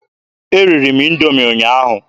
Eriri m Indoomi ụnyaahụ.